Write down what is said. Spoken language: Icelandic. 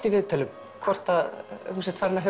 í viðtölum hvort þú sért farinn að